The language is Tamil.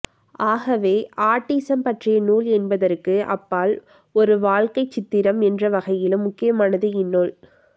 ஆகவே ஆட்டிசம் பற்றிய நூல் என்பதற்கு அப்பால் ஒரு வாழ்க்கைச்சித்திரம் என்றவகையிலும் முக்கியமானது இந்நூல்